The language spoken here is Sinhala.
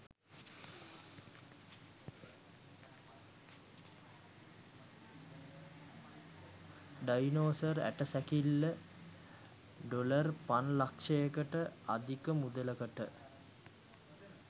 ඩයිනසෝර් ඇට සැකිල්ල ඩොලර් පන් ලක්ෂයකට අධික මුදලකට